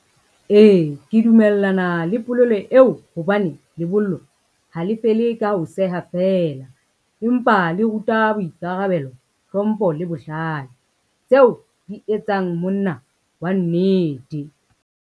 Ee, ke dumellana le polelo eo hobane lebollo, ha le fele ka ho seha feela empa le ruta boikarabelo, hlompho le bohlale, tseo di etsang monna wa nnete.